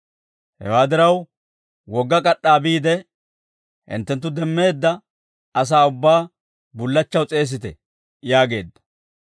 Hewaa diraw, wogga k'ad'd'aa biide, hinttenttu demmeedda asaa ubbaa bullachchaw s'eesite› yaageedda.